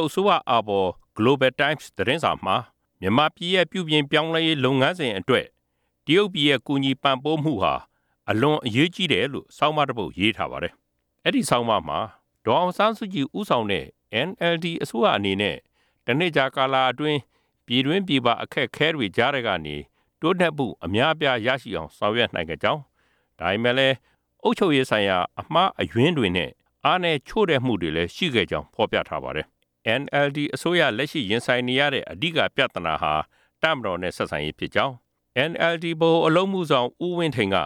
ုတ်အစိုးရအာဘော် Global Times သတင်းစာမှာ မြန်မာပြည်ရဲ့ ပြုပြင်ပြောင်း လဲရေးအတွက် တရုတ်ပြည်ရဲ့အကူအညီကို အထူးအရေးကြီးကြောင်း ရေးသားထားပါတယ်။ အဲဒီဆောင်းပါးမှာ ဒေါ်အောင်ဆန်းစုကြည် ဦးဆောင်တဲ့ NLD အစိုးရရဲ့ တနှစ်ကြာသက်တမ်းအတွင်း အခက်အ ခဲတွေအကြားကနေ တိုးတက်မှု အများအပြား ဆောင်ရွက်နိုင်ခဲ့ပေမယ့် အုပ်ချုပ်ရေးဆိုင်ရာ အမှားအယွင်းတွေနဲ့ အားနည်းချို့တဲ့မှုတွေလည်း ရှိခဲ့ကြောင်း ဖေါ်ပြထားပါတယ်။ မြန်မာအစိုးရ အဓိက ရင်ဆိုင်နေရတဲ့ ပြသနာက တပ်မတော်နဲ့ ဆက်ဆံရေးဖြစ်ကြောင်း၊ NLD ဗဟိုအလုပ်အ မှုဆောင် ဦးဝင်းထိန်က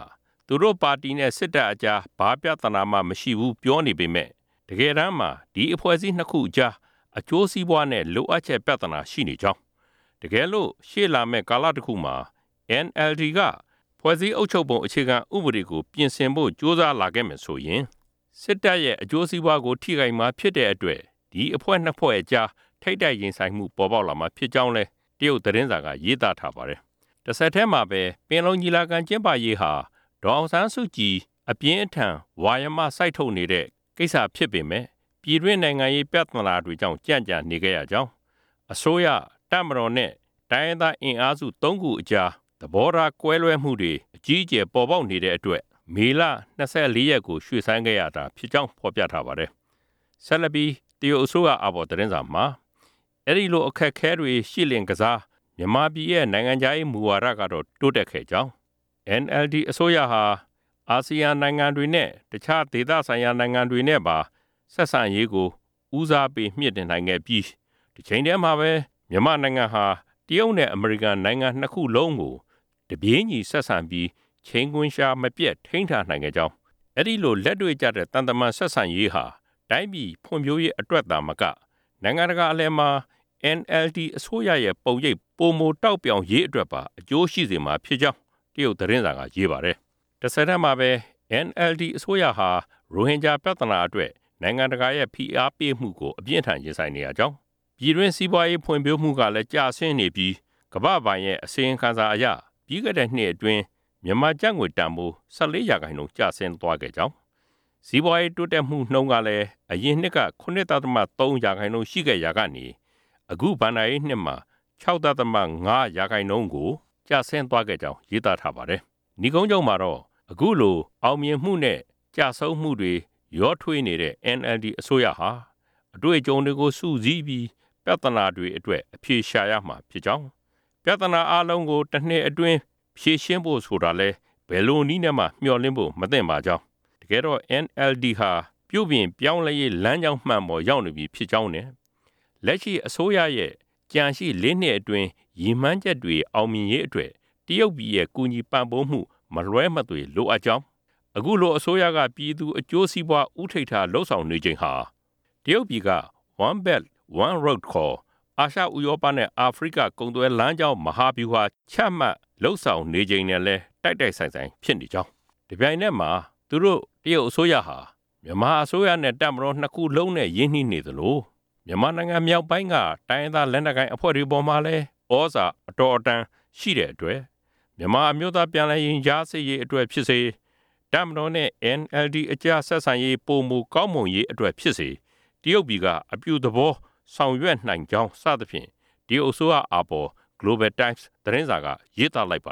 သူတို့ပါတီနဲ့ စစ်တပ်အကြား ဘာပြသနာမှ မရှိဖူးလို့ပြောနေပေမယ့် တကယ်တန်းမှာ ဒီအဖွဲ့အစည်း ၂ ခုအကြား ကိုယ်ကျိုးစီးပွားနဲ့ လိုအင်ဆန္ဒပြသနာ ရှိနေကြောင်း၊ တကယ်လို့ ရှေ့လာမယ့် ကာလတ ခုမှာ NLD က ဖွဲ့စည်းပုံဥပဒေကို ပြင်ဆင်ဖို့ကြိုးစားလာခဲ့မယ်ဆိုရင် စစ်တပ်နဲ့ ထိပ်တိုက်ရင်ဆိုင်မှု ပေါ်ပေါက်လာ မှာဖြစ်ကြောင်း တရုတ်သတင်းစာက ရေးထားပါတယ်။ ဆက်လက်ပြီး ၂၁ ရာစု ပင်လုံညီလာခံကျင်းပရေးဟာ ဒေါ်အောင်ဆန်းစုကြည် အပြင်းအထန် ဝါယမစိုက်နေတဲ့ ကိစ္စဖြစ်ပေမယ့် ပြည်တွင်းနိုင်ငံရေးပြသနာတွေကြောင့် ကြန့်ကြာနေခဲ့ရကြောင်း၊ အစိုးရ၊ တပ်မတော်နဲ့ တိုင်းရင်း သားအင်အားစုတွေအကြား သဘောထားကွဲလွဲမှုတွေ အကြီးအကျယ် ပေါ်ပေါက်နေတဲ့အတွက် မေလ ၂၄ ရက် အထိ ရွှေ့ဆိုင်းခဲ့ရတာဖြစ်ကြောင်း ဖေါ်ပြထားပါတယ်။ ဒါပေမယ့် အဲဒီလို အခက်အခဲတွေကြားထဲကပဲ မြန်မာပြည်ရဲ့ နိုင်ငံခြားရေးမူဝါဒတွေကတော့ တိုးတက်မှုရှိ ခဲ့ကြောင်း၊ NLD အစိုးရဟာ အာဆီယံနိုင်ငံတွေနဲ့ရော တခြားသက်ဆိုင်ရာနိုင်ငံတွေနဲ့ပါ ဆက်ဆံရေးကို တိုး တက်မြှင့်တင်နိုင်ခဲ့ပြီး တချိန်တည်းမှာပဲ မြန်မာနိုင်ငံဟာ တရုတ်နဲ့အမေရိကန်နိုင်ငံ ၂ ခုလုံးကို တပြေးညီဆက် ဆံပြီး ချိန်ခွင်လျှာမပျက် ထိန်းထားနိုင်ခဲ့ကြောင်း၊ အဲဒီလို လက်တွေ့ကျတဲ့ သံတမန်ဆက်ဆံရေးဟာ တိုင်းပြည် ဖွံဖြိုးရေးအတွက်သာမက နိုင်ငံတကာအလယ်မှာ NLD အစိုးရရဲ့ ပုံရိပ် ပိုမိုထွန်းပြောင်ရေးအတွက်ပါ အကျိုးရှိစေ မှာဖြစ်ကြောင်းလည်း တရုတ်သတင်းစာက ရေးပါတယ်။ တဆက်တည်းမှာပဲ NLD အစိုးရဟာ ရိုဟင်ဂျာပြသနာအတွက် နိုင်ငံတကာရဲ့ ဖိအားပေးမှုကို အပြင်းအထန် ရင် ဆိုင်နေရကြောင်း၊ ပြည်တွင်းစီးပွားရေးဖွံ့ဖြိုးမှုကျဆင်းနေပြီး ကမ္ဘာ့ဘဏ်ရဲ့ ထုတ်ပြန်ချက်အရ ပြီးခဲ့တဲ့နှစ် အတွင်း မြန်မာကျပ်ငွေတန်ဖိုး ၁၄% ထိုးကျသွားခဲ့ကြောင်းနဲ့ စီးပွားရေးတိုးတက်မှုနှုံးကလည်း အရင်နှစ်က ၇.၃% ရှိခဲ့ရာကနေ အခု ၂ဝ၁၆-၁၇ ဘဏ္ဏာနှစ်မှာ ၆.၅% ကို နိမ့်ဆင်းသွားကြောင်း ရေးထားပါတယ်။ နိဂုံးချုပ်မှာတော့ အခုလို အောင်မြင်မှုနဲ့ ကျဆုံးမှုတွေ ရောထွေးနေတဲ့ NLD အစိုးရအနေနဲ့ အတွေ့အကြုံတွေကို စုစည်းပြီး ပြသနာတွေကို အဖြေရှာရမှာဖြစ်ကြောင်း၊ ပြသနာအားလုံးကို တနှစ်တည်းနဲ့ ဖြေရှင်းဖို့ဆိုတာကိုတော့ ဘယ်နည်းနဲမှ မျှော်လင့်ကြဖို့ မသင့်ပါကြောင်း၊ တကယ်တော့ NLD ဟာပြုပြင်ရေးလမ်းကြောင်းမှန်ပေါ် ရောက် ရှိနေပြီဖြစ်ကြောင်းနဲ့ လက်ရှိအစိုးရရဲ့ ကျန်ရှိ လေးနှစ်အတွင်း ရည်မှန်းချက်တွေ အောင်မြင်ရေးအတွက် တရုတ်ပြည်ရဲ့ ပံ့ပိုးကူညီမှုမလွဲမသွေလိုအပ်ပါကြောင်း၊ တပြိုင်နက်မှာ အခုလို မြန်မာအစိုးရက ပြည်သူ့စီးပွါး ဦးထိပ်ထား ကြိုးပမ်းနေချိန်ဟာ တရုတ်ပြည်က One Belt, One Road ခေါ် အာရှ၊ ဥရောပနဲ့ အာဖရိကနိုင်ငံတွေ အကြား ကုန်သွယ်မှုလမ်းကြောင်း တိုးတက်ရေး မဟာဗျူဟာ ချမှတ်လုပ်ဆောင်နေချိန်နဲ့လည်း တိုက်တိုက်ဆိုင် ဆိုင် ဖြစ်နေကြောင်း၊ ဒါ့အပြင် သူတို့တရုတ်အစိုးရဟာ လက်ရှိမြန်မာအစိုးရနဲ့ရော တပ်မတော်နဲ့ပါ ရင်းနှီးနေသ လို မြန်မာပြည်မြောက်ပိုင်းက တိုင်းရင်းသားလက်နက်ကိုင်အဖွဲ့တွေ အပေါ်မှာလည်း အတော်အသင့် သြ ဇာညောင်း တဲ့အတွက် မြန်မာအမျိုးသား ပြန်လည်ရင်ကြားစေ့ရေးအတွက်ဖြစ်စေ၊ တပ်မတော်နဲ့ NLD အကြား ဆက်ဆံရေး ပိုမိုကောင်းမွန်ဖို့အတွက်ဖြစ်စေ၊ အပြုသဘောပါဝင် ဆောင်ရွက်နိုင်ပါကြောင်းစသဖြင့် တရုတ်အစိုးရ အာဘော် Global Times သတင်းစာက ရေးသားလိုက်ပါ